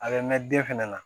A bɛ mɛn den fɛnɛ na